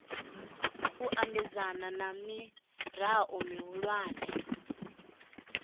u ambedzana na mirao mihulwane